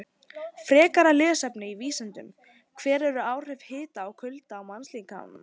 Frekara lesefni á Vísindavefnum: Hver eru áhrif hita og kulda á mannslíkamann?